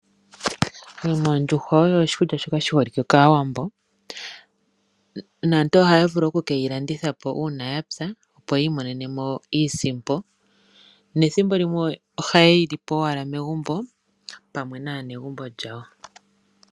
Ondjuhwa oyo oshikulya shoka shi holike kaawambo, ohaya vulu oku ke yi landithapo uuna ya pya, opo yi imonenemo iisimpo, nethimbolimwe ohaye li po pamwe naanegumbo yawo.